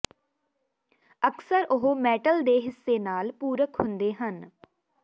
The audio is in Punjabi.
ਅਕਸਰ ਉਹ ਮੈਟਲ ਦੇ ਹਿੱਸੇ ਨਾਲ ਪੂਰਕ ਹੁੰਦੇ ਹਨ